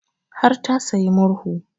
Har ta sayi murhu